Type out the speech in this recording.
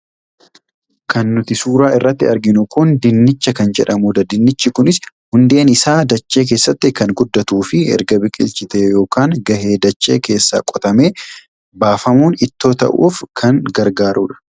Kan nuti suuraa irratti arginu kun Dinnicha kan jedhamudha. Dinnichi kunis hundeen isaa dachee keessatti kan guddatuu fi erga bilchaatee yookaan gahee dachee keessaa qotamee baafamuun ittoo ta'uuf lan gargaarudha.